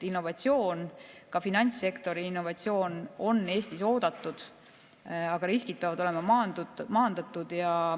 Innovatsioon, ka finantssektori innovatsioon on Eestis oodatud, aga riskid peavad olema maandatud.